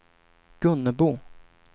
Gunnebo